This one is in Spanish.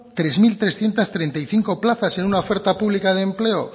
tres mil trescientos treinta y cinco plazas en una oferta pública de empleo